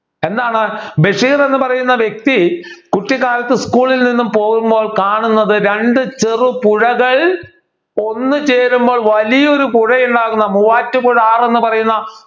എന്താണ് ബഷീർ എന്ന് പറയുന്ന വ്യക്തി കുട്ടിക്കാലത്തു school ൽ നിന്നും പോകുമ്പോൾ കാണുന്നത് രണ്ട് ചെറു പുഴകൾ ഒന്ന് ചേരുമ്പോൾ വലിയൊരു പുഴയുണ്ടാകുന്ന മൂവാറ്റുപുഴ ആറ് എന്ന് പറയുന്ന